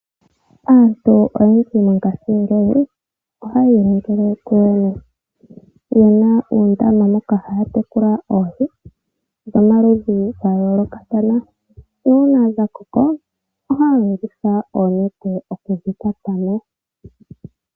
Aantu oyendji mongashingeyi ohaye iningile kuyo yene, yena uundama moka haya tekula oohi dhomaludhi ga yoolokathana. Nuuna dha koko ohaya longitha oonete okudhi kwata mo.